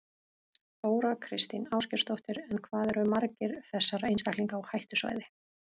Þóra Kristín Ásgeirsdóttir: En hvað eru margir þessara einstaklinga á hættusvæði?